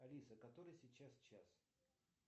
алиса который сейчас час